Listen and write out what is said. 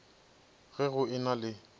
ge go e na le